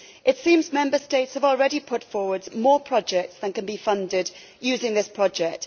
It seems that the Member States have already put forward more projects than can be funded using this project.